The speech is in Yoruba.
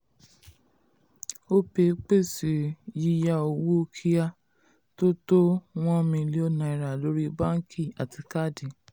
opay pèsè pèsè yíyá owó kíá tó tó 1 million naira lórí báńkì àti káàdì.